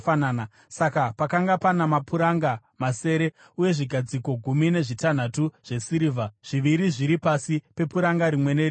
Saka pakanga pana mapuranga masere uye zvigadziko gumi nezvitanhatu zvesirivha, zviviri zviri pasi pepuranga rimwe nerimwe.